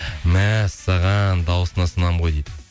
мәссаған дауысына сынамын ғой дейді